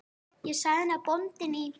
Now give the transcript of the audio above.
Ég sagði henni að bóndinn í